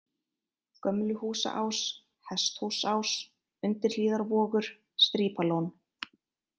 Gömluhúsaás, Hesthúsás, Undirhlíðarvogur, Strípalón